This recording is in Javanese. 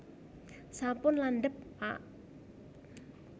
sampun landhep pak